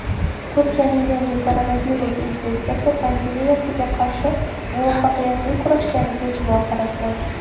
Turkiyaning yangi koronavirus infeksiyasi pandemiyasiga qarshi muvaffaqiyatli kurashganiga e’tibor qaratgan.